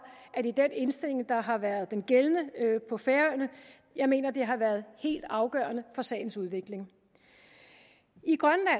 at det er den indstilling der har været den gældende på færøerne jeg mener det har været helt afgørende for sagens udvikling i grønland